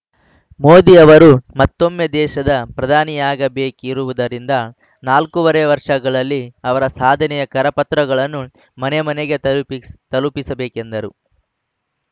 ಮೋದಿ ಅವರು ಮತ್ತೊಮ್ಮೆ ದೇಶದ ಪ್ರಧಾನಿಯಾಗಬೇಕಿರುವುದರಿಂದ ನಾಲ್ಕೂವರೆ ವರ್ಷಗಳಲ್ಲಿ ಅವರ ಸಾಧನೆಯ ಕರಪತ್ರಗಳನ್ನು ಮನೆ ಮನೆಗೆ ತಲುಪಿಸ್ ತಲುಪಿಸಬೇಕೆಂದರು